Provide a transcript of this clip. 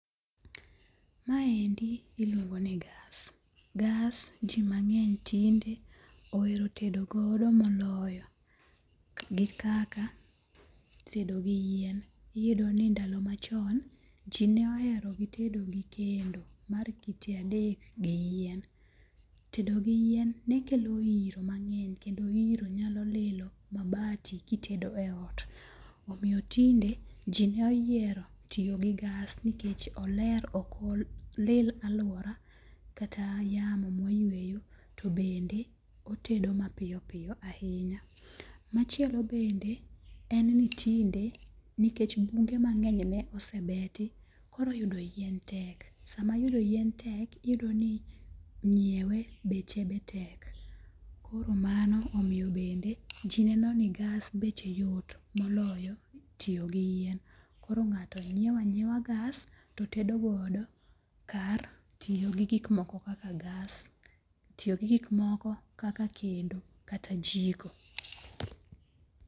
Maendi iluongo ni [cas]gas. Gas ji mang'eny tinde ohero tedogodo moloyo gi kaka tedo gi yien. Iyudo ni ndalo machon, ji ne ohero gi tedo gi kendo, mar kite adek gi yien. Tedo gi yien nekelo iro mang'eny kendo iro nyalo lilo mabati kitedo e ot. Omiyo tinde ji noyiero tiyo gi gas nikech oler ok olil aluora kata yamo ma wayueyo to bende otedo mapiyo piyo ahinya. Machielo bende en ni tinde nikech bunge mang'eny ne osebeti, koro yudo yien tek. Sama yudo yien tek, iyudo ni nyiewe beche be tek. Koro mano omiyo bende ji neno ni gas beche yot moloyo tiyo gi yien. Koro ng'ato ng'iewo ang'iewa gas to tedogodo kar tiyo gi gik moko kaka gas tiyo gi gik moko kaka kendo kata jiko.